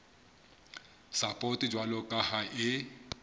sapoto jwalo ka ha e